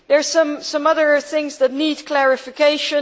There are some other things which need clarification.